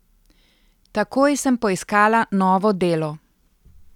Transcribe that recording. Takoj sem poiskala novo delo.